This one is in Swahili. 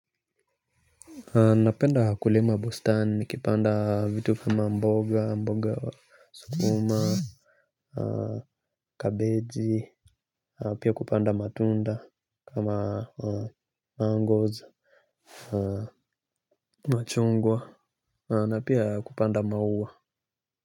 Napenda kulima bostani, kipanda vitu kama mboga, mboga sukuma, kabeji, pia kupanda matunda, kama mangoes, machungwa. Na pia, kupanda maua.